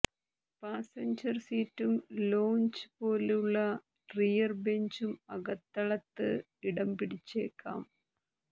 passenger സീറ്റും lounge പോലുള്ള rear ബെഞ്ചും അകത്തളത്ത് ഇടംപിടിച്ചേക്കാം